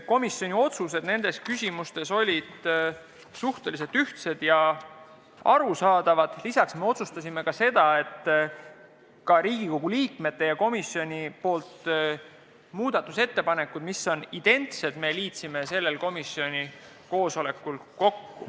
Komisjoni otsused nendes küsimustes olid suhteliselt ühtsed ja arusaadavad, lisaks me otsustasime ka seda, et Riigikogu liikmete ja komisjoni poolt tehtud muudatusettepanekud, mis on identsed, me liitsime sellel komisjoni koosolekul kokku.